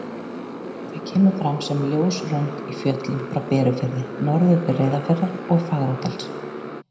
Það kemur fram sem ljós rönd í fjöllum frá Berufirði norður til Reyðarfjarðar og Fagradals.